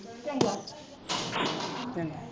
ਚੰਗਾ